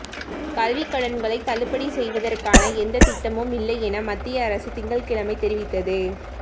கல்விக் கடன்களை தள்ளுபடி செய்வதற்கான எந்த திட்டமும் இல்லை என மத்திய அரசு திங்கள்கிழமை தெரிவித்தது